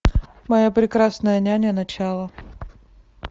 моя прекрасная няня начало